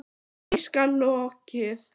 Því skal lokið.